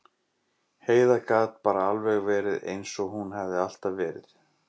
Heiða gat bara alveg verið eins og hún hafði alltaf verið.